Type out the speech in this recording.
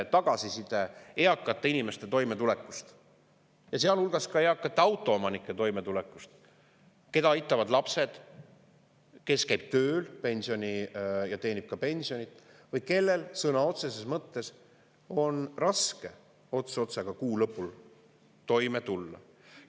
– eakate inimeste tagasiside toimetuleku kohta, sealhulgas ka eakate autoomanike toimetulek, keda aitavad lapsed,, kes käivad tööl ja teenivad ka pensionit või kellel sõna otseses mõttes on kuu lõpul raske ots otsaga tulla.